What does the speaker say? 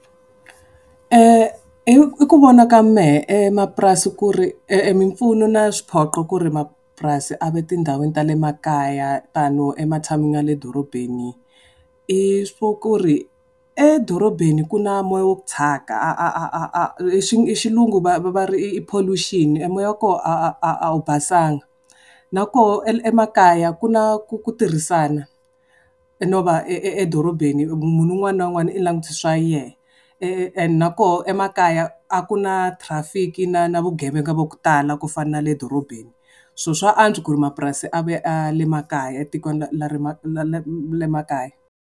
Hi ku vona ka mehe emapurasi ku ri mimpfuno na swiphoqo ku ri mapurasini a va tindhawini ta le makaya tano ematshan'weni ya le dorobeni, i swa ku ri edorobeni ku na moya wa ku thyaka a a a a a hi xilungu va ri i pollution e moya wa koho a wu basanga na koho emakaya ku na ku ku tirhisana. No va edorobeni munhu un'wana na un'wana u langutise swa yehe and na koho emakaya a ku na traffic-i na na vugevenga va ku tala ku fana na le dorobeni. So swa antswa ku ri mapurasi a ve a le makaya etikweni le makaya.